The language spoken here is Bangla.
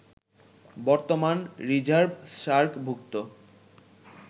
বর্তমান রিজার্ভ সার্কভুক্ত